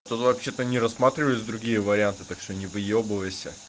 тут вообще-то не рассматривались другие варианты так что не выёбывайся